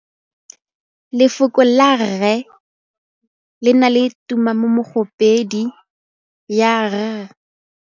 Lefoko la rre le na le tumammogôpedi ya, r.